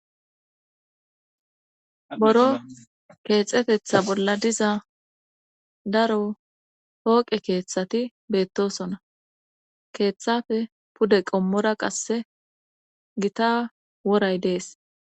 boro keexetetha bolla diza daro pooqe keeththati beettosona keeththafe pude qommora qasse gita woray dees